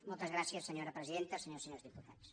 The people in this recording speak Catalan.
moltes gràcies senyora presidenta senyores i senyors diputats